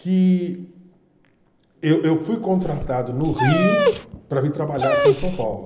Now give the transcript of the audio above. que eu eu fui contratado no Rio para vir trabalhar aqui em São Paulo.